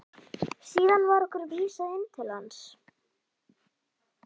Síðan var okkur vísað inn til hans.